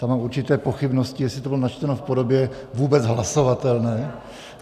Tam mám určité pochybnosti, jestli to bylo načteno v podobě vůbec hlasovatelné.